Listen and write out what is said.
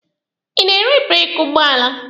Ị na-ere breeki ụgbọala?